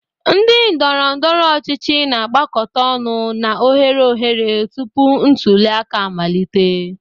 Ndị ndoro-ndoro ochichi na-agbakọta ọnụ na oghere oghere tupu ntuli aka amalite.